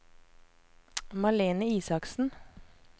Malene Isaksen